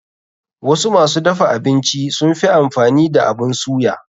Wasu masu dafa abinci sunfi amfani da abun suya.